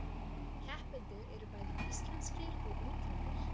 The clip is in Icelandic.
Keppendur eru bæði íslenskir og útlendir